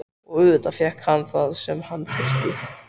Og auðvitað fékk hann það sem hann þurfti.